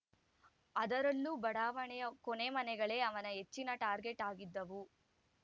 ಅದರಲ್ಲೂ ಬಡಾವಣೆಯ ಕೊನೆ ಮನೆಗಳೇ ಅವನ ಹೆಚ್ಚಿನ ಟಾರ್ಗೆಟ್‌ ಆಗಿದ್ದವು